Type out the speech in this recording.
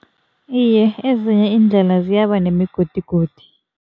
Iye, ezinye iindlela ziyaba nemigodigodi.